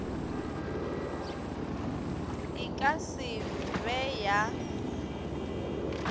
e ka se be ya